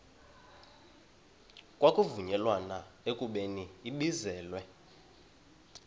kwavunyelwana ekubeni ibizelwe